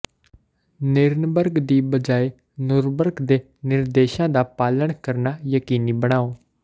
Nirenberg ਦੀ ਬਜਾਏ Nurburg ਦੇ ਨਿਰਦੇਸ਼ਾਂ ਦਾ ਪਾਲਣ ਕਰਨਾ ਯਕੀਨੀ ਬਣਾਓ